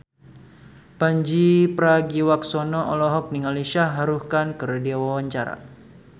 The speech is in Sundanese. Pandji Pragiwaksono olohok ningali Shah Rukh Khan keur diwawancara